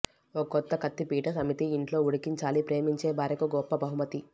ఒక కొత్త కత్తిపీట సమితి ఇంట్లో ఉడికించాలి ప్రేమించే భార్యకు ఒక గొప్ప బహుమతి